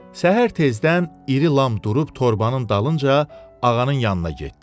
Səhər tezdən İrilam durub torbanın dalınca ağanın yanına getdi.